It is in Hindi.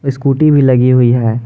स्कूटी भी लगी हुई है।